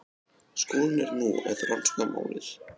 Skólinn er nú að rannsaka málið